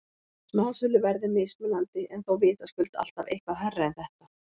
Smásöluverð er mismunandi en þó vitaskuld alltaf eitthvað hærra en þetta.